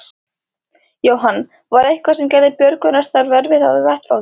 Jóhann: Var eitthvað sem gerði björgunarstarf erfitt á vettvangi?